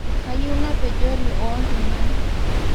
Kayieu napejori ooltungan